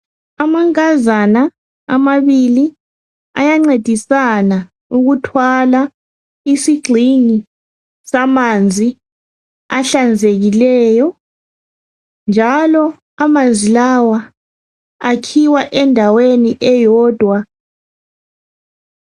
Amankazana amabili ayancedisana ukuthwala isigxingi samanzi ahlanzekileyo njalo amanzi lawa akhiwa endaweni eyodwa.